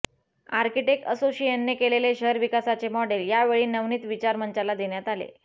architect असोसिएशनने केलेले शहर विकासाचे मॉडेल या वेळी नवनीत विचार मंचाला देण्यात आले